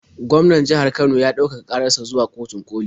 Gwaman jihar Kano ya ɗaukaka ƙarar sa zuwa kotun ƙoli.